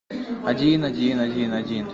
один один один один